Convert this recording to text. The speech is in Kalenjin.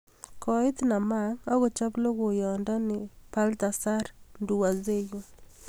Koit Namang akochop logoiyondo nii Balthazar Nduwayezu